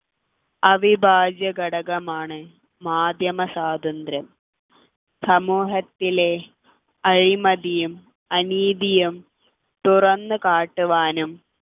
അവിഭാജ്യ ഘടകമാണ് മാധ്യമസ്വാതന്ത്ര്യം സമൂഹത്തിലെ അഴിമതിയും അനീതിയും തുറന്നു കാട്ടുവാനും